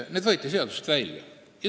Need võeti seadusest välja.